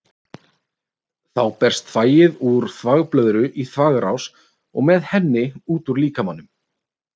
Þá berst þvagið úr þvagblöðru í þvagrás og með henni út úr líkamanum.